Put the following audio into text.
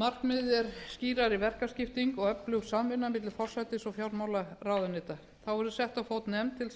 markmiðið er skýrari verkaskipting og öflug samvinna milli forsætis og fjármálaráðuneyta þá verður sett á fót nefnd til þess að fara yfir